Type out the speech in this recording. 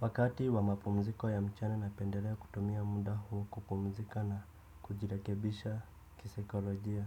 Wakati wa mapumziko ya mchana napendelea kutumia muda huo kupumzika na kujirekebisha kisaikolojia.